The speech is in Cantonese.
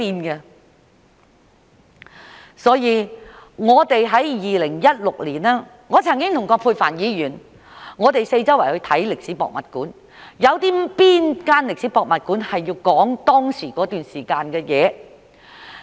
因此，在2016年，我曾經和葛珮帆議員四處參觀歷史博物館，看看有哪間歷史博物館載述那段時間的事？